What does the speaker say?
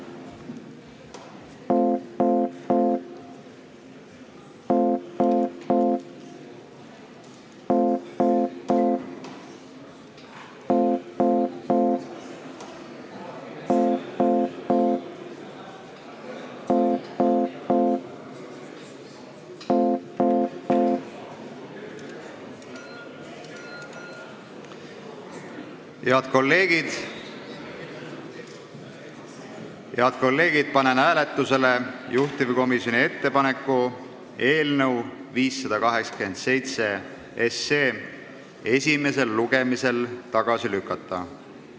Head kolleegid, panen hääletusele juhtivkomisjoni ettepaneku eelnõu 587 esimesel lugemisel tagasi lükata.